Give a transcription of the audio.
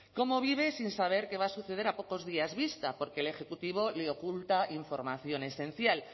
cómo vive sin saber qué va a suceder a pocos días vista porque el ejecutivo le oculta información esencial